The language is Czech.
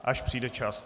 Až přijde čas.